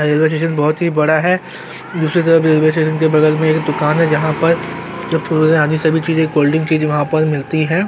Railway station बहुत ही बड़ा है दूसरी तरफ रेलवे स्टेशन के बगल में एक दूकान है जहाँ पर सभी चीजे कोल्डड्रिंक चीज वहाँ पर मिलती है।